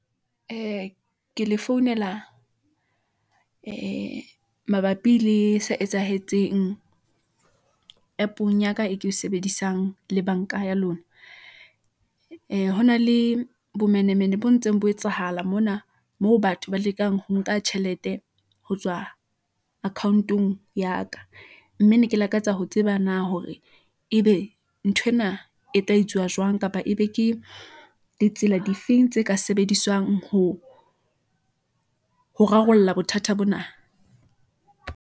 Ee, ke le founela ee mabapi le se etsahetseng app-ong ya ka, e ke e sebedisang le bank-a ya lona . Ee, ho na le bomenemene bo ntseng bo etsahala mona , moo batho ba lekang ho nka tjhelete , ho tswa account-ong ya ka , mme ne ke lakatsa ho tseba na hore , ebe nthwena , e tla etsuwa jwang, kapa e be ke ditsela difeng tse ka sebediswang ho rarolla bothata bona.